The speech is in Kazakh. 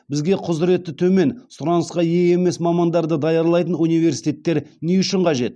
бізге құзыреті төмен сұранысқа ие емес мамандарды даярлайтын университеттер не үшін қажет